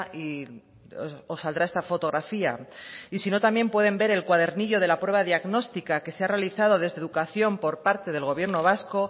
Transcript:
y os saldrá esta fotografía y sino también puede ver el cuadernillo de la prueba diagnóstica que se ha realizado desde educación por parte del gobierno vasco